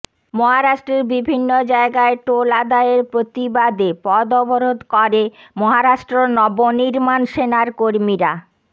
মহারাষ্ট্রের বিভিন্ন জায়গায় টোল আদায়ের প্রতিবাদে পথ অবরোধ করে মহারাষ্ট্র নবনির্মাণ সেনার কর্মীরা